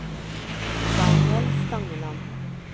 Daniel Stangeland